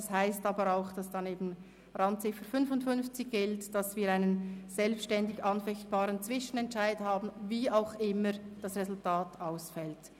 Das heisst aber auch, dass dann eben Randziffer 55 gilt, wonach wir einen selbstständig anfechtbaren Zwischenentscheid haben, wie auch immer das Resultat ausfällt.